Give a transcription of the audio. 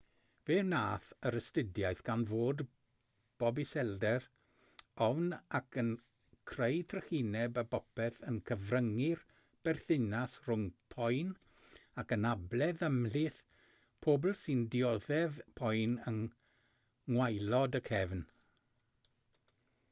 fe wnaeth yr astudiaeth ganfod bod iselder ofn ac yn creu trychineb o bopeth yn cyfryngu'r berthynas rhwng poen ac anabledd ymhlith pobl sy'n dioddef poen yng ngwaelod y cefn